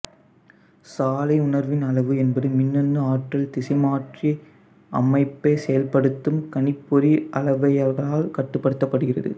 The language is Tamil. சாலை உணர்வின் அளவு என்பது மின்னணு ஆற்றல் திசைமாற்றி அமைப்பைச் செயல்படுத்தும் கணிப்பொறி அளவையலகால் கட்டுப்படுத்தப்படுகிறது